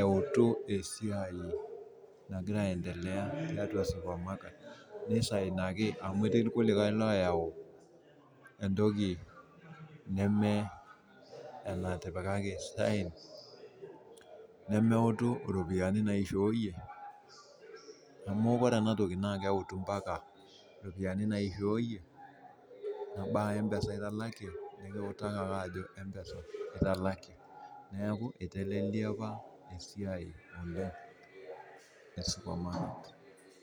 eutu esiai nagira aendelea tiatua supermarket nisainaki amu etii irkulikae layau entoki nemeutu ropiyani naishooyie eneba mpesa nitalakie neaku itelelia apa esiai oleng e supermarket